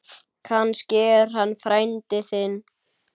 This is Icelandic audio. Kannski er hann frændi þinn.